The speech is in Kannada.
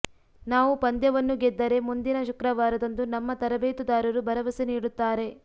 ನಾವು ಪಂದ್ಯವನ್ನು ಗೆದ್ದರೆ ಮುಂದಿನ ಶುಕ್ರವಾರದಂದು ನಮ್ಮ ತರಬೇತುದಾರರು ಭರವಸೆ ನೀಡುತ್ತಾರೆ